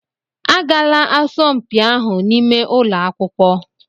Agaala asọmpi ahụ n'ime ụlọ akwụkwọ!